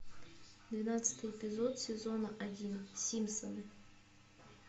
двенадцатый эпизод сезона один симпсоны